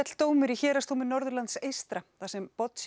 dómur í Héraðsdómi Norðurlands þar sem